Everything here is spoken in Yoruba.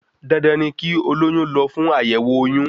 Dandan ni kí olóyún lọ fún Àyẹ̀wọ̀ oyún